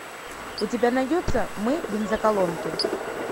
у тебя найдется мы бензоколонки